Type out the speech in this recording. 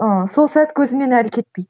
ыыы сол сәт көзімнен әлі кетпейді